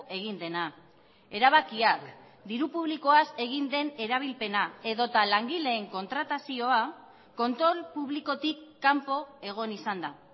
egin dena erabakiak diru publikoaz egin den erabilpena edota langileen kontratazioa kontrol publikotik kanpo egon izan da